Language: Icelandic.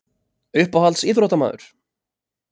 Uppáhalds íþróttamaður?